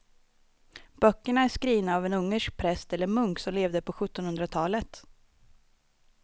Böckerna är skrivna av en ungersk präst eller munk som levde på sjuttonhundratalet.